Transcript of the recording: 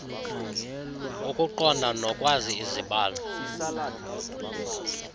ukuqonda nokwazi izibalo